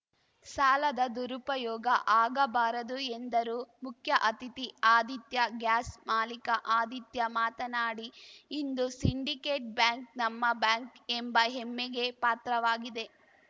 ಸಾಲದ ದುರುಪಯೋಗ ಆಗಬಾರದು ಎಂದರು ಮುಖ್ಯ ಅತಿಥಿ ಆದಿತ್ಯ ಗ್ಯಾಸ್‌ ಮಾಲೀಕ ಆದಿತ್ಯ ಮಾತನಾಡಿ ಇಂದು ಸಿಂಡಿಕೇಟ್‌ ಬ್ಯಾಂಕ್‌ ನಮ್ಮ ಬ್ಯಾಂಕ್‌ ಎಂಬ ಹೆಮ್ಮೆಗೆ ಪಾತ್ರವಾಗಿದೆ